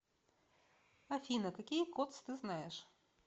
афина какие кодс ты знаешь